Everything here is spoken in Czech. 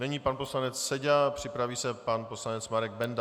Nyní pan poslanec Seďa, připraví se pan poslanec Marek Benda.